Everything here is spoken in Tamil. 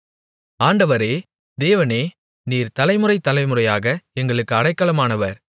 ஆண்டவரே தேவனே நீர் தலைமுறை தலைமுறையாக எங்களுக்கு அடைக்கலமானவர்